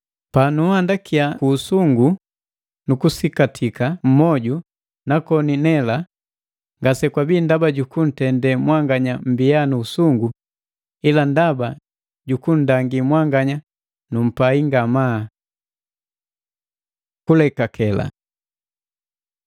Panunhandakiya ku usungu nukusikatika mmoju na koni nela, ngasekwabii ndaba jukuntende mwanganya mmbiya nu usungu, ila ndaba jukunndangi mwanganya numpai ngamaa. Kulekake